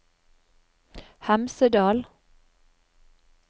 Hemsedal